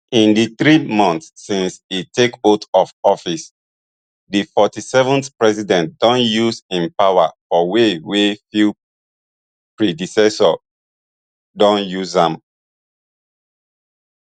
in di three months since e take oath of office di forty-seventh president don use im power for way wey few predecessors don use am